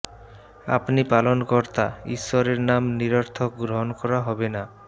আপনি পালনকর্তা ঈশ্বরের নাম নিরর্থক গ্রহণ করা হবে না